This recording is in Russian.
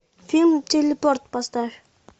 фильм телепорт поставь